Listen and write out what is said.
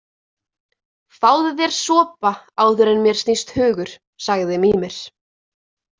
Fáðu þér sopa áður en mér snýst hugur, sagði Mímir.